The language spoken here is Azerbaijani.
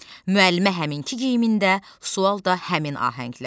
Müəllimə həminki geyimində, sual da həmin ahənglə.